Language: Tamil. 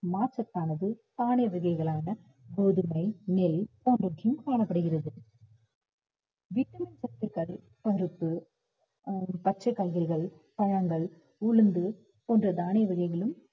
நார்சத்தானது வகைகளான கோதுமை, நெல் போன்றவற்றையும் காணப்படுகிறது vitamin சத்துக்கள் பருப்பு அஹ் பச்சைக் காய்கறிகள், பழங்கள், உளுந்து, போன்ற தானிய வகைகளும்